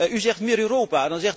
U zegt meer Europa